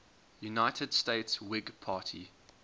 united states whig party